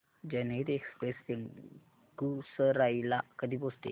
जनहित एक्सप्रेस बेगूसराई ला कधी पोहचते